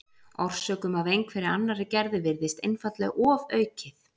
Orsökum af einhverri annarri gerð virðist einfaldlega ofaukið.